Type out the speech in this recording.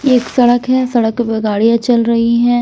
एक सड़क है सड़क पे गाड़ियाँ चल रही हैं।